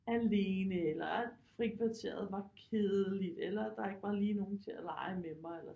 Alene eller at frikvarteret var kedeligt eller at der ikke var lige nogen til at lege med mig eller